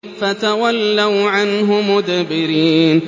فَتَوَلَّوْا عَنْهُ مُدْبِرِينَ